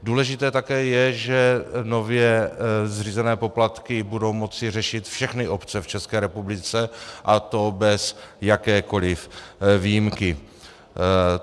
Důležité také je, že nově zřízené poplatky budou moci řešit všechny obce v České republice, a to bez jakékoliv výjimky.